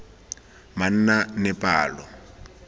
manaanepalo